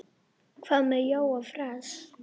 Hvað með Jóa fress?